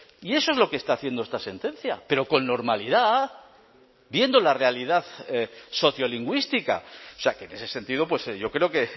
y eso es lo que está haciendo esta sentencia pero con normalidad viendo la realidad sociolingüística o sea que en ese sentido yo creo que